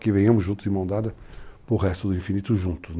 Que venhamos juntos, enmandados pelo resto do infinito, juntos.